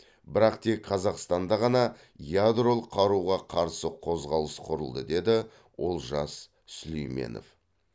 бірақ тек қазақстанда ғана ядролық қаруға қарсы қозғалыс құрылды деді олжас сүлейменов